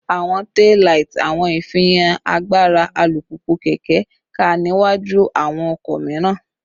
Awọn taillight awọn ifihan agbara alupupu/keke ká niwaju awọn ọkọ miiran